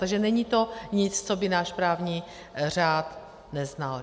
Takže není to nic, co by náš právní řád neznal.